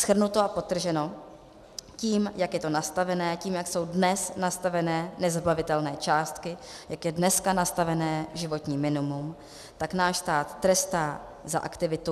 Shrnuto a podtrženo, tím, jak je to nastaveno, tím, jak jsou dnes nastaveny nezabavitelné částky, jak je dneska nastaveno životní minimum, tak náš stát trestá za aktivitu.